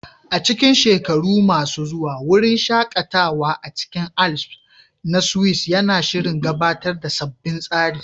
A cikin shekaru masu zuwa, wurin shaƙatawa a cikin Alps na Swiss yana shirin gabatar da sabbin tsari